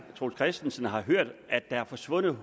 troels christensen har hørt at der er forsvundet